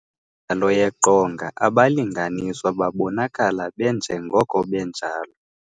Kwimidlalo yeqongaabalinganiswa babonakala benjengoko benjalo.